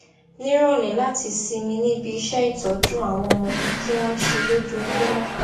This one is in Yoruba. níròlé láti sinmi níbi iṣẹ ìtójú àwọn ọmọ tí wọn n ṣe lójoojúmó